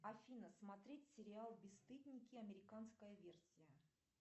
афина смотреть сериал бесстыдники американская версия